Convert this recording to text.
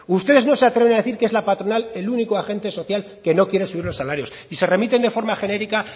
ustedes no se atreven a decir que es la patronal el único agente social que no quiere subir los salarios y se remiten de forma genérica